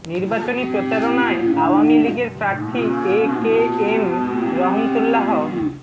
নির্বাচনী প্রচারণায় আওয়ামী লীগের প্রার্থী এ কে এম রহমতুল্লাহ